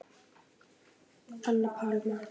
Anna Pálma.